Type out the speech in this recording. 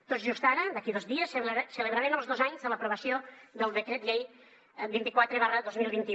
tot just ara d’aquí dos dies celebrarem els dos anys de l’aprovació del decret llei vint quatre dos mil quinze